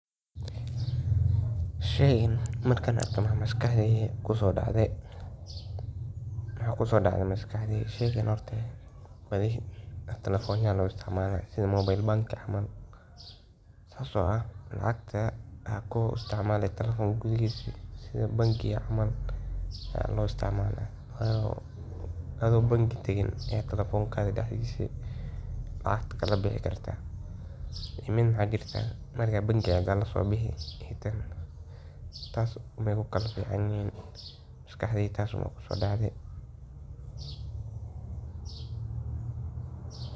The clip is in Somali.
Maxa kusodacaya maskaxdada ,Waxa maskaxda ku socda waa fikir, xusuus, qorsheyn, dareen, iyo go’aan qaadasho. Maalin kasta, maskaxda waxay la tacaalaysaa xog fara badan oo ka timaadda aragga, maqalka, taabashada, urta, iyo dhadhanka, waxaana ay si degdeg ah u falanqaysaa xogtaas si qofku ugu jawaabo si habboon. Marka qofku fikirayo, maskaxda waxay shaqo culus ka qabataa isku xirka xusuusta hore iyo xogta cusub si loo gaaro go’aan ama loo xalliyo dhibaato.